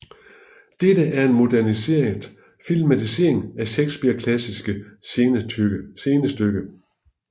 Dette er en moderniseret filmatisering af Shakespeares klassiske scenestykke